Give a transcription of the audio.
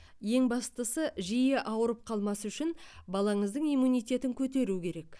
ең бастысы жиі ауырып қалмас үшін балаңыздың иммунитетін көтеру керек